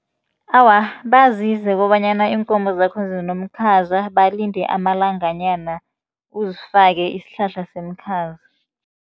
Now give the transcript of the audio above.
Awa, bazise kobanyana iinkomo zakho zinomkhaza, balinde amalanga nyana uzifake isihlahla semikhaza.